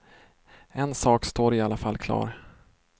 En sak står i alla fall klar.